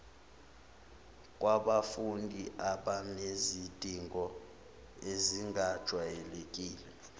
kwabafundi abanezidingo ezingajwayelekile